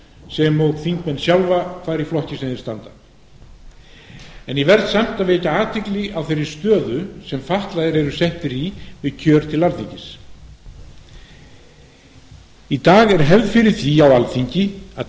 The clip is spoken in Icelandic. sem og þingmenn sjálfa hvar í flokki sem þeir standa en ég verð samt að vekja athygli á þeirri stöðu sem fatlaðir eru settir í við kjör til alþingis í dag er hefð fyrir því á alþingi að